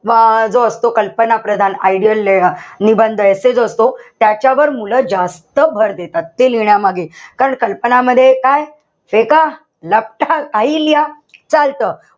अं जो असतो कल्पना प्रदान ideal निबंध essay जो असतो, त्याच्यावर मुलं जास्त भर देतात. ते लिहिण्यामागे. कारण कल्पनांमध्ये काय काहीही लिहा चालत.